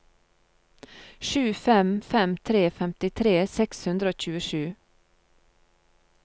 sju fem fem tre femtitre seks hundre og tjuesju